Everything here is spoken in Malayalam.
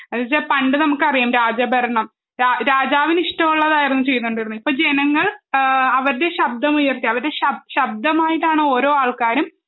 എന്നുവെച്ചാൽ പണ്ട് നമുക്കറിയാം രാജഭരണം രാ രാജാവിന് ഇഷ്ടമുള്ളതായിരുന്നു ചെയ്തോണ്ടിരുന്നെ ഇപ്പോ ജനങ്ങൾ ആ അവരുടെ ശബ്ദമുയർത്തി അവരുടെ ശ ശബ്ദമായിട്ടാണ് ഓരോ ആൾക്കാരും